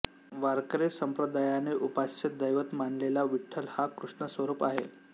वारकरी संप्रदायाने उपास्य दैवत मानलेला विठ्ठल हा कृष्णस्वरूप आहे